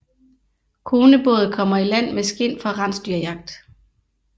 Konebåd kommer i land med skind fra rensdyrjagt